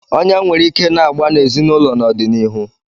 Ọnyá nwere ike na-agba n'ezinụlọ n'ọdịnihu.